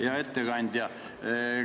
Hea ettekandja!